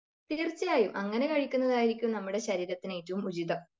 തീർച്ചയായും അങ്ങനെ കഴിക്കുന്നതായിരിക്കും നമ്മുടെ ശരീരത്തിന് ഏറ്റവും ഉചിതം.